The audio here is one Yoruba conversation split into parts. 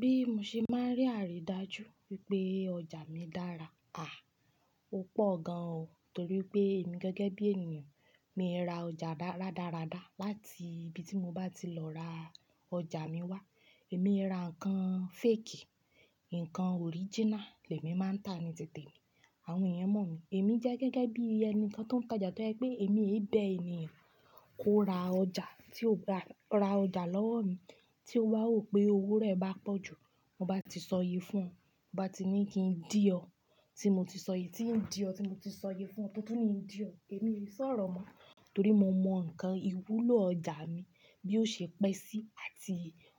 Bí mo ṣe máa rí àrídájú wípé ọjà mi dára? À, ó pọ̀ gan o. Torí pé èmi gẹ́gẹ́ bí ènìyàn mi ń ra ọjà rádaradára láti ibi tí mo bá ti lọ ra ọjà mi wá. Èmi ń ra nǹkan fake, nǹkan original lẹ̀mí máa ń tà ní tètè mi. Àwọn ènìyàn mọ̀ mí. Èmi jẹ́ gẹ́gẹ́ bí ẹni kan tó ń tajà tó jẹ pé èmi èyí bẹ́ ènìyàn kó ra ọjà tí ó bá ra ọjà lọ́wọ́ mi tí ó bá wò pé owó rẹ̀ bá pọ̀ jù mo bá ti sọ yí fún ọún, mo bá ti ní kí ń dì ọ́ tí mo ti sọ yí, tí ń dì ọ́ tí mo ti sọ yí fún ọún, tútù ni ń dì ọ́. Èmi ò lè sọ̀rọ̀ mọ́, torí mo mọ nǹkan ìwúlò ọjà mi bí ó ṣe pẹ́ sí àti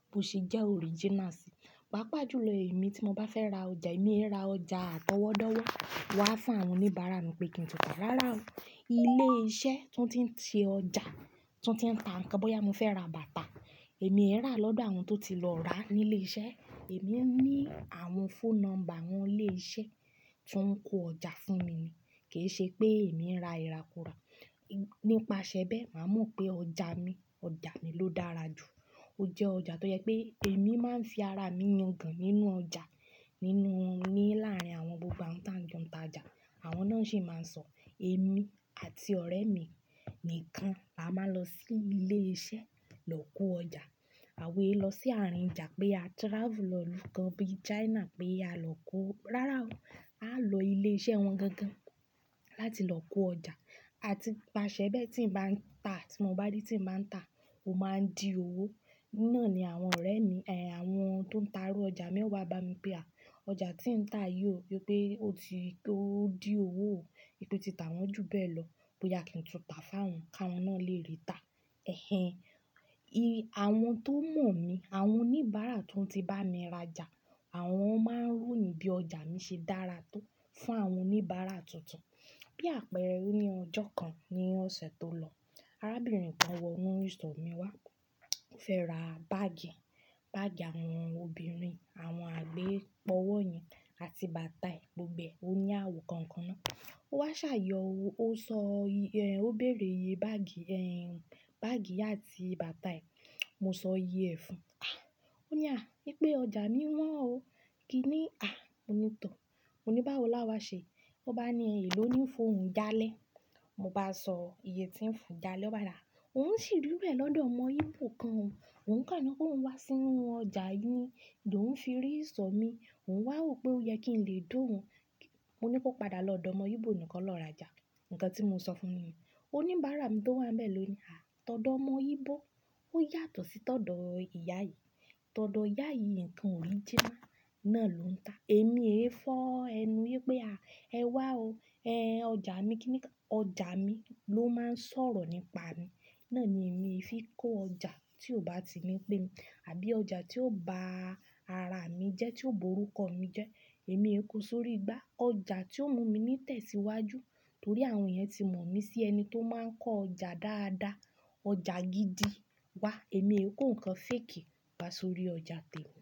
bí ó ṣe jẹ́ original sí. Pápá ìjúlọ̀ èmi tí mo bá fẹ́ ra ọjà èmi ń ra ọjà tọwọ́tọwọ́ wá fún àwọn oníbàárà mi pé kí n tọ́ ta. Rárá o, ilé iṣẹ́ tó ń ti ṣe ọjà, tó ń ti ń tà nǹkan bóyá mo fẹ́ ra bàtà, èmi ń rà lọ́dọ̀ àwọn tó ti lọ ra ní ilé iṣẹ́. Èmi ní àwọn phone number àwọn ilé iṣẹ́ tó ń kó ọjà fún mi ni. Kì í ṣe pé èmi ń ra ìrakura. Nípasẹ̀ bẹ́ẹ̀, màá mọ̀ pé ọjà mi, ọjà mi ló dára jù. Ó jẹ́ ọjà tó jẹ pé èmi máa ń fi ara mi yan gan nínú ọjà nínú mi láàárín àwọn gbogbo àwọn táǹjọ̀ tájà. Àwọn náà sì máa ń sọ èmi àti ọ̀rẹ́ mi nìkan la máa ń lọ sí ilé iṣẹ́ lọ kó ọjà. Àwa èé lọ sí àárín ìjà pé a travel lọ ìlú kan bí China pé a lọ kó. Rárá o, a lò ilé iṣẹ́ wọn gangan láti lọ kó ọjà. Àti pasẹ̀ bẹ́ẹ̀ tí ń bá ń tà, tí mo bá rí tí ń bá ń tà, ó máa ń di owó. Ní náà ni àwọn ọ̀rẹ́ mi, ẹ́hẹ̀n, àwọn tó ń ta rú ọjà mẹ́wàá bá mi pé à, ọjà tí ń tà yìí ò yẹ pé ó ti ó di owó o. Wípé tí ta wọ́n jù bẹ́ẹ̀ lọ. Bóyá kí n tún ta fún àwọn, káwọn náà lè rí i tà. Ẹ̀hẹ̀n, àwọn tó mọ̀ mí, àwọn oníbàárà tó ti bá mi rajà àwọn máa ń ròyìn bí ọjà mi ṣe dára tó fún àwọn oníbàárà tuntun. Bí àpẹẹrẹ ní ọjọ́ kan ní ọ̀sẹ̀ tó lọ, arábìnrin kan wọ inú ìsọ̀ mi wá. Ó fẹ́ ra báàgì, báàgì àwọn obìnrin, àwọn àgbẹ̀ pọ́wọ́ yẹn àti bàtà gbogbo e. Ó ní àwọ̀ kọ̀ọ̀kan náà. Ó wá ṣàyẹ̀wò ó, ó sọ yẹ́, ó béèrè ye báàgì ẹ́hẹ̀n, báàgì àti bàtà yìí. Mo sọ yí ẹ̀ fún un. À, ó ní à, wípé ọjà mi wọ́n o. Kí ni? À, mo ní tọ̀. Mo ní báwo la wá ṣe? Ó bá ni èló ní fún òun jalẹ́. Mo bá sọ iye tí ń fún un jalẹ́ oba ni a ó ń ṣì dúró ẹ̀ lọ́dọ̀ ọmọ íbò kan o. Òun kàání kóhùn wá sínú ọjà yìí ló ń fi rí ìsọ̀ mi. Ó wá wò pé ó yẹ kí n lè di òun. Mo ní kó padà lọ́dọ̀ ọmọ íbò nì kó lọ rajà. Ǹkan tí mo sọ fún ni. Oníbàárà mi tó wà bẹ́ẹ̀ ló ní, à, tọ̀dọ́ ọmọ íbò ó yàtọ̀ sí tọ̀dọ̀ ìyá yìí. Tọ̀dọ̀ ìyá yìí nǹkan original náà ló ń tà. Èmi èyí fọ́ ẹnu wípé à, ẹ wá o. Ẹ̀hẹn, ọjà mi kí n ní ká. Ọjà mi ló máa ń sọ̀rọ̀ nípa mi. Náà ni èmi fi kó ọjà tí ò bá ti ní pé mi àbí ọjà tí yóò ba ara mi jẹ́ tí yóò burúkọ̀ mi jẹ́. Èmi ò kó sórí igbá. Ọjà tí ó mú mi ní tẹ̀síwájú. Torí àwọn ènìyàn tí mọ̀ mí sí ẹni tó máa ń kó ọjà dáadáa, ọjà gidi wá. Èmi ò kó nǹkan fake wà sórí ọjà tẹ̀le.